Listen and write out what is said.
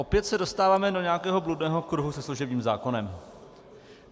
Opět se dostáváme do nějakého bludného kruhu se služebním zákonem.